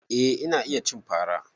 Eh ina iya cin fara.